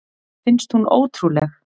Finnst hún ótrúleg.